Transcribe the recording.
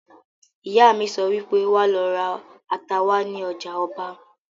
Ìyá mi sọ wípé "Wà lọ ra ata wá ní ọjà ọba"!